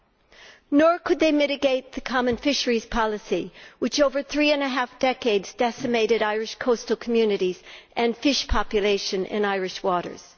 Or that they could not mitigate the common fisheries policy, which, over three and a half decades, decimated Irish coastal communities and fish stocks in Irish waters?